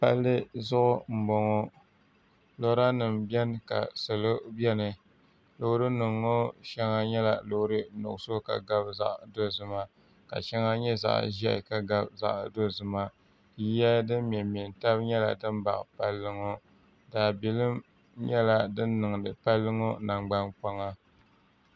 palli zuɣu m boŋɔ lora nima beni ka salo beni loori nima ŋɔ sheŋa nyela loori nuɣuso ka gabi zaɣa dozima ka sheŋa nyɛ zaɣa ʒehi ka gabi zaɣa dozima yiya din memme n tam nyɛla din baɣi palli daabilim nyɛla din niŋdi palli ŋɔ nangbankpaŋa